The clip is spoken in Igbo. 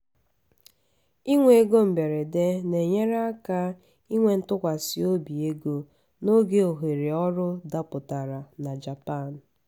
ịnwe ego mberede na-enyere aka inwe ntụkwasị obi ego n’oge ohere ọrụ dapụtara na japan.